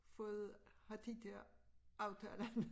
Fået har de dér aftalerne